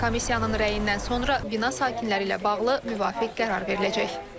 Komissiyanın rəyindən sonra bina sakinləri ilə bağlı müvafiq qərar veriləcək.